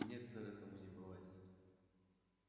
нет сэр этому не бывать